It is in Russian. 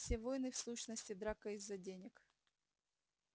все войны в сущности драка из-за денег